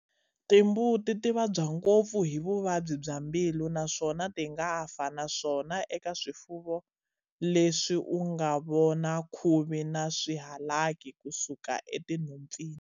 Timbuti ti vabya ngopfu hi Vuvabyi bya mbilu naswona ti nga fa naswona eka swifuvo leswi u nga vona khuvi na swihalaki ku suka enhompfini.